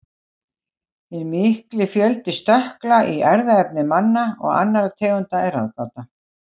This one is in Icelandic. Hinn mikli fjöldi stökkla í erfðaefni manna og annarra tegunda er ráðgáta.